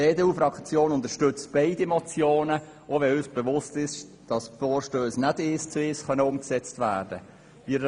Die EDU-Fraktion unterstützt beide Motionen, auch wenn uns bewusst ist, dass diese Vorstösse nicht eins zu eins umgesetzt werden können.